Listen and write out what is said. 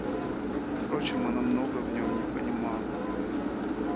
впрочем она многого в ём не понимала